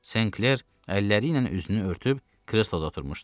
Senkler əlləri ilə üzünü örtüb, kresloda oturmuşdu.